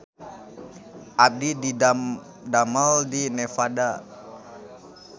Abdi didamel di Nevada